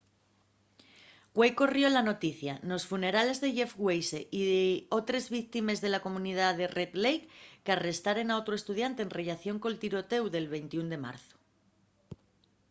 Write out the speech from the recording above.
güei corrió la noticia nos funerales de jeff weise y otres tres víctimes de la comunidá de red lake qu'arrestaren a otru estudiante en rellación col tirotéu del 21 de marzu